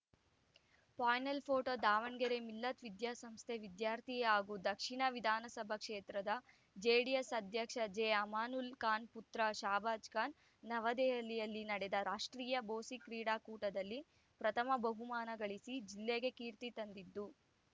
panel photo Davanagere Millat ವಿದ್ಯಾಸಂಸ್ಥೆ ವಿದ್ಯಾರ್ಥಿ ಹಾಗೂ ದಕ್ಷಿಣ ವಿಧಾನಸಭಾ ಕ್ಷೇತ್ರದ ಜೆಡಿಎಸ್‌ ಅಧ್ಯಕ್ಷ ಜೆಅಮಾನುಲ್ಲಾ ಖಾನ್‌ ಪುತ್ರ ಶಾಬಾಜ್‌ಖಾನ್‌ ನವದೆಹಲಿಯಲ್ಲಿ ನಡೆದ ರಾಷ್ಟ್ರೀಯ ಬೊಸಿ ಕ್ರೀಡಾಕೂಟದಲ್ಲಿ ಪ್ರಥಮ ಬಹುಮಾನಗಳಿಸಿ ಜಿಲ್ಲೆಗೆ ಕೀರ್ತಿ ತಂದಿದ್ದು